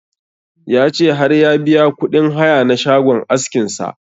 Ya ce har ya biya kuɗin haya na shagon askin sa